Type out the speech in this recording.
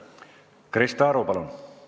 Krista Aru, palun!